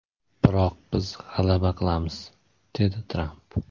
Biroq biz g‘alaba qilamiz”, dedi Tramp.